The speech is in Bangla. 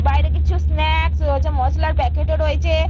বাইরে কিছু স্নাক্স রয়েছে মশলার প্যাকেট ও রয়েছে।